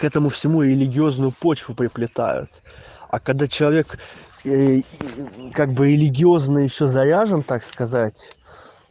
к этому всему религиозную почву приплетают а когда человек ээ и как бы религиозно ещё заряжен так сказать